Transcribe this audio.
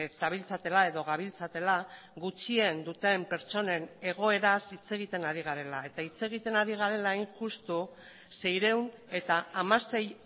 zabiltzatela edo gabiltzatela gutxien duten pertsonen egoeraz hitz egiten ari garela eta hitz egiten ari garela hain justu seiehun eta hamasei